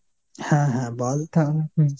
হ্যাঁ হ্যাঁ বল তাহলে ।